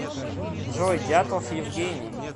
джой дятлов евгений